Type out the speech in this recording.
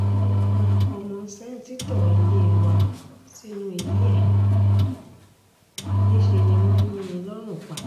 wọ́n pa ọmọ sẹ́ǹtítọ́ ilé wa sínú ilé ẹ̀ níṣẹ́ ni wọ́n yín in lọ́rùn pa